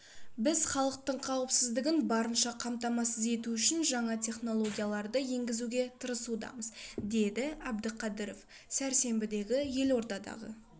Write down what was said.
біз халықтың қауіпсіздігін барынша қамтамасыз ету үшін жаңа технологияларды енгізуге тырысудамыз деді әбдіқадыров сәрсенбідегі елордадағы